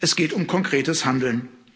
Es geht um konkretes Handeln.